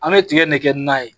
An be tigɛ in ne kɛ nan ye.